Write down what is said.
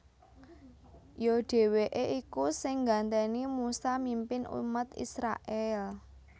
Ya dhèwèké iku sing nggantèni Musa mimpin umat Israèl